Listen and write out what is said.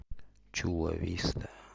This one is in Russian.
чула виста